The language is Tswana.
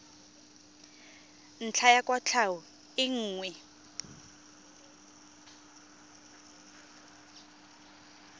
ntlha ya kwatlhao e nngwe